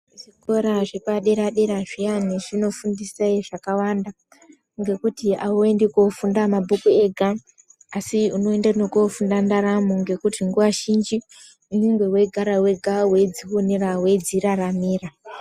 Zvikora zvepadera dera zviyani zvinofundise zvakawanda ngekuti auendi kofunda mabhuku ega asi unoenda nekundofunda ndaramo ngekuti nguwa zhinji unenge weigara wega weidzionera weidziraramira.